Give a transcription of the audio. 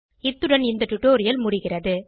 இத்துடன் இந்த டுடோரியல் முடிகிறது